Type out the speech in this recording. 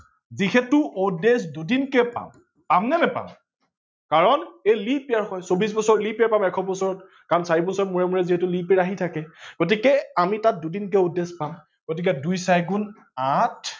যিহেতু odd days দুদিনকে পাম পাম নে নাপাম কাৰন এই leap year হয় চৌবিশ বছৰ leap year এশ বছৰ, চাৰি বছৰৰ মুৰে মুৰে যিহেতু leap year আহি থাকে গতিকে আমি তাত দুদিনকে odd days পাম গতিকে দুই চাৰি গুন আঠ